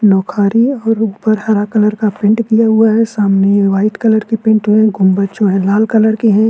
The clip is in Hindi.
लुक आरी है और उपर हरा कलर का पेंट किया हुआ है सामने वाईट कलर की पेंट हुई है गुंबद जो है लाल कलर के हैं।